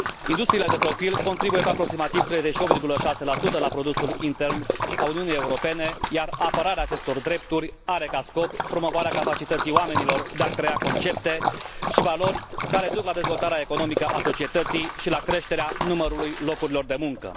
Industriile de profil contribuie cu aproximativ 38,6 la produsul intern al Uniunii Europene, iar apărarea acestor drepturi are ca scop promovarea capacității oamenilor de a crea concepte și valori care duc la dezvoltarea economică a societății și la creșterea numărului locurilor de muncă.